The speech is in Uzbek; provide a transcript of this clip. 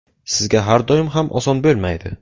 Sizga har doim ham oson bo‘lmaydi.